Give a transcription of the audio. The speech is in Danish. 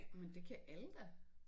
Men det kan alle da